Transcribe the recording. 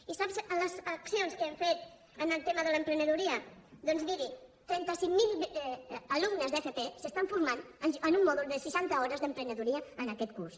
i sap les accions que hem fet en el tema de l’emprenedoria doncs miri trenta cinc mil alumnes d’fp s’estan formant en un mòdul de seixanta hores d’emprenedoria en aquest curs